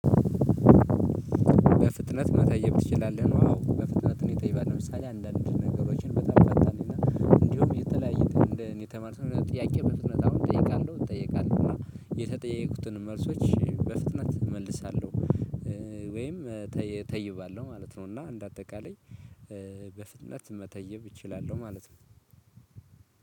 በፍጥነት መጠየቅ ትችላለህ? ነው። አዎ በፍጥነት እኔ ጠይቃለው ለምሳሌ አንዳንድ ነገሮችን በጣም ፈጣንና እንዲሁም የተለያየ እንደ እኔ የተማርኩትን ጥያቄ በፍጥነት አሁን እጠይቃለሁ እጠየቃለሁ እና የተጠየቁትን መልሶች በፍጥነት እመልሳለሁ። ወይም ተይባለሁ ማለት ነው። እና እንደ አጠቃላይ በፍጥነት መተየብ እችላለሁ ማለት ነው።